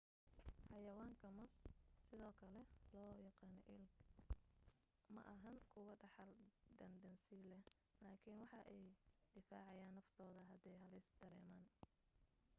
xayawaanka moos sidoo kale loo yaqaan elk maahan kuwo dhaxal daan dansi leh laakin waxa ay difaacayan naftooda hadde halis dareeman